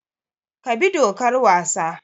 Ka bi dokar wasa!